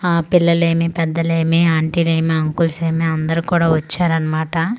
ఆ పిల్లలేమి పెద్దలేమి ఆంటీలేమి అంకుల్స్ ఏమి అందరు కూడా వచ్చారన్నమాట.